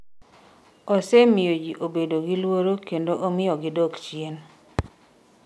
osemiyo jii obedo gi luoro kendo omiyo gidok chien